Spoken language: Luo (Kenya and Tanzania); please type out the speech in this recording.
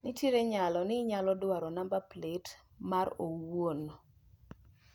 Nitiere nyalo ni inyalo dwaro namba plet mar owuon